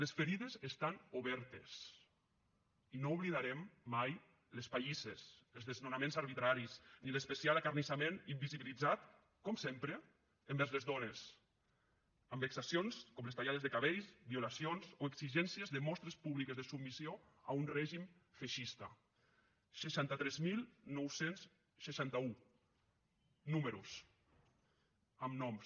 les ferides estan obertes i no oblidarem mai les pallisses els desnonaments arbitraris ni l’especial acarnissament invisibilitzat com sempre envers les dones amb vexacions com les tallades de cabells violacions o exigències de mostres públiques de submissió a un règim feixista seixanta tres mil nou cents i seixanta un números amb noms